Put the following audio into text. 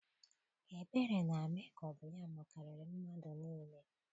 Ebere na-eme ka ọ bụ ya makariri mmadụ niile.